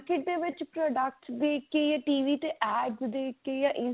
ਦੇ ਵਿੱਚ product ਦੀ ਕੀ ਹੈ TV ਤੇ adds ਦੇਖ ਕੇ